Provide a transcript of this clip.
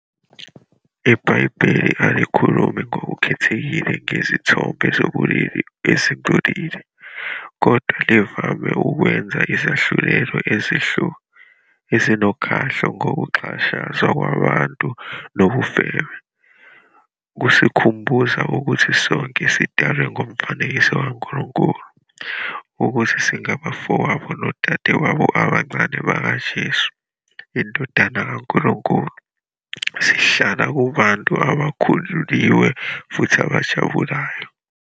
IBhayibheli alikhulumi ngokukhethekile ngezithombe zobulili ezingcolile, kodwa livame ukwenza izahlulelo ezinokhahlo ngokuxhashazwa kwabantu nobufebe. Kusikhumbuza ukuthi sonke sidalwe ngomfanekiso kaNkulunkulu, ukuthi singabafowabo nodadewabo abancane bakaJesu, iNdodana kaNkulunkulu, sihlala kubantu abakhululiwe futhi abajabulayo.